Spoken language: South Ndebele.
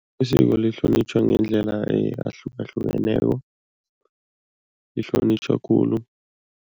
Isiko lihlonitjhwa ngendlela ahlukahlukeneko, lihlonitjhwa khulu.